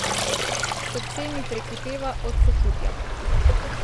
Srce mi prekipeva od sočutja.